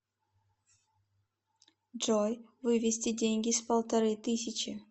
джой вывести деньги с полторы тысячи